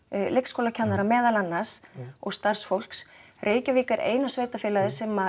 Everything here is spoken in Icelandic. leikskólakennara meðal annars og starfsfólks Reykjavík er eina sveitarfélagið sem